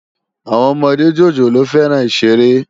Awòn òmòdé jójólóò fèrán iṣéré